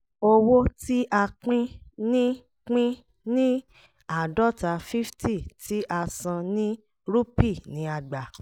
owó tí a pín ní pín ní àádọ́ta fifty tí a san ní rupee ni a gbà